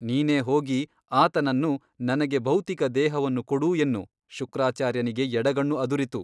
ನೀನೇ ಹೋಗಿ ಆತನನ್ನು ನನಗೆ ಭೌತಿಕ ದೇಹವನ್ನು ಕೊಡು ಎನ್ನು ಶುಕ್ರಾಚಾರ್ಯನಿಗೆ ಎಡಗಣ್ಣು ಅದುರಿತು.